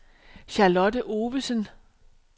Charlotte Ovesen